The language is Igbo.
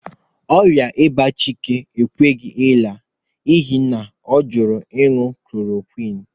qỌrịa ịba Chike ekweghị àlà n'ihi na ọ jụrụ ịñụ chloroquine